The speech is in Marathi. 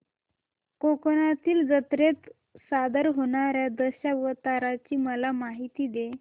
कोकणातील जत्रेत सादर होणार्या दशावताराची मला माहिती दे